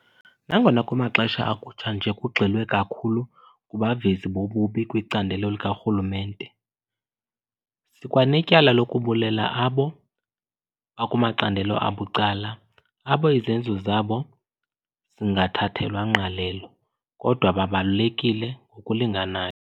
Nangona kumaxesha akutshanje kugxilwe kakhulu kubavezi bobubi kwicandelo likarhulumente, sikwanetyala lokubulela abo bakumacandelo abucala abo izenzo zabo zingathathelwa ngqalelo, kodwa babalulekile ngokulinganayo.